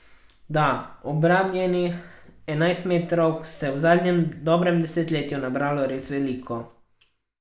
Da, obranjenih enajstmetrovk se je v zadnjem dobrem desetletju nabralo res veliko.